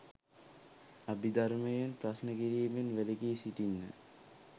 අභිධර්මයෙන් ප්‍රශ්න කිරීමෙන් වලකී සිටින්න